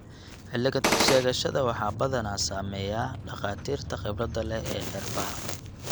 Cilad-sheegashada waxaa badanaa sameeya dhakhaatiirta khibrada leh ee neerfaha.